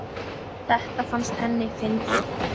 Þetta fannst henni fyndið.